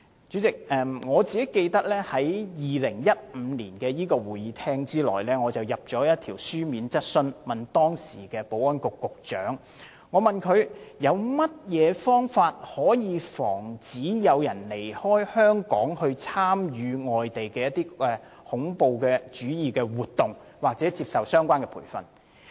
主席，我記得我曾於2015年的立法會會議上提出一項書面質詢，詢問當時的保安局局長有何方法防止有人離開香港，前往外地參與恐怖主義活動或接受相關培訓。